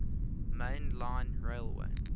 main line railway